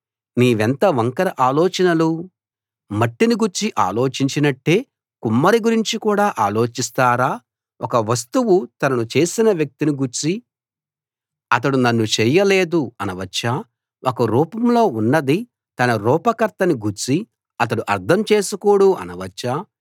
మీవెంత వంకర ఆలోచనలు మట్టిని గూర్చి అలోచించినట్టే కుమ్మరి గురించి కూడా ఆలోచిస్తారా ఒక వస్తువు తనను చేసిన వ్యక్తిని గూర్చి అతడు నన్ను చేయలేదు అనవచ్చా ఒక రూపంలో ఉన్నది తన రూప కర్తని గూర్చి అతడు అర్థం చేసుకోడు అనవచ్చా